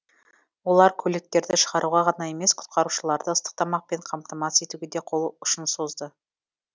олар көліктерді шығаруға ғана емес құтқарушыларды ыстық тамақпен қамтамасыз етуге де қол ұшын созды